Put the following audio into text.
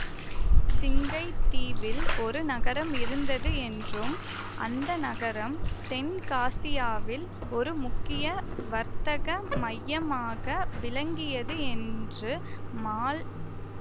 சிங்கை தீவில் ஒரு நகரம் இருந்தது என்றும் அந்த நகரம் தென்காசியாவில் ஒரு முக்கிய வர்த்தக மையமாக விளங்கியது என்று மால்